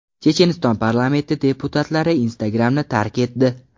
Checheniston parlamenti deputatlari Instagram’ni tark etdi.